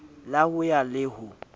la ho ya le ho